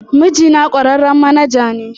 Mijina kwararren manaja ne